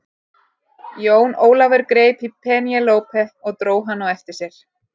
Jón Ólafur greip í Penélope og dró hana á eftir sér.